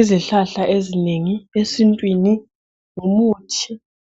Izihlahla ezinengi esintwini ngumuthi